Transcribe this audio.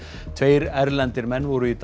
tveir erlendir menn voru í dag